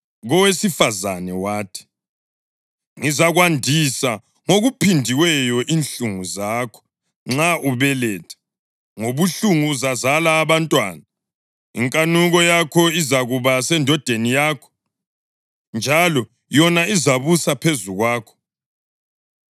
Kowesifazane wathi, “Ngizakwandisa ngokuphindiweyo inhlungu zakho nxa ubeletha; ngobuhlungu uzazala abantwana. Inkanuko yakho izakuba sendodeni yakho, njalo yona izabusa phezu kwakho.”